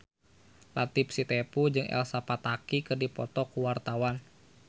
Latief Sitepu jeung Elsa Pataky keur dipoto ku wartawan